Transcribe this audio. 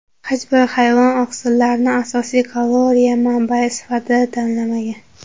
Hech bir hayvon oqsillarni asosiy kaloriya manbai sifatida tanlamagan.